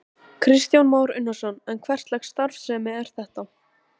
Kristján Már Unnarsson: En hverslags starfsemi er þetta?